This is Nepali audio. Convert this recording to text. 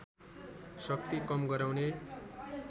शक्ति कम गराउने